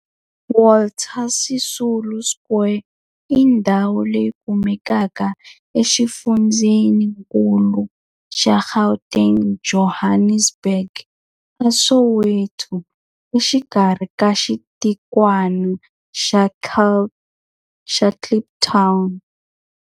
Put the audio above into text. Walter Sisulu Square i ndhawu leyi kumekaka exifundzheninkulu xa Gauteng, Johannesburg, a Soweto, exikarhi ka xitikwana xa Kliptown.